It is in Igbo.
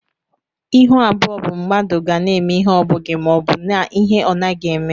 Ịhụ abụọ bụ mmadụ ga na eme ihe ọbughi maọbu na-ihe ọnaghi eme.